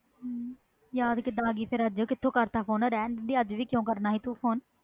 ਯਾਦ ਕੀਦਾ ਆ ਗਈ ਅਜੇ ਕੀਦਾ ਕਰਤਾ ਫੋਨ ਅਜੇ ਵੀ ਰਹਿਣ ਦੇਣਾ ਸੀ